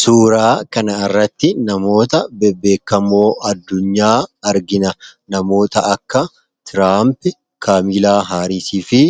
Suuraa kana irratti namoota bebbeekamoo addunyaa argina . Namoota akka Tiraamp, Kaamilaa Haariisii fi